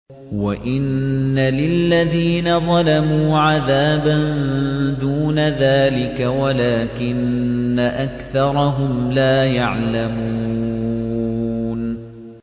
وَإِنَّ لِلَّذِينَ ظَلَمُوا عَذَابًا دُونَ ذَٰلِكَ وَلَٰكِنَّ أَكْثَرَهُمْ لَا يَعْلَمُونَ